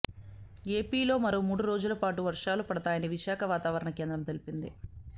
ఏపీలో మరో మూడు రోజులపాటు వర్షాలు పడతాయని విశాఖ వాతావరణ కేంద్రం తెలిపింది